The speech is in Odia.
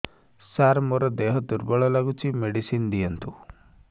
ସାର ମୋର ଦେହ ଦୁର୍ବଳ ଲାଗୁଚି ମେଡିସିନ ଦିଅନ୍ତୁ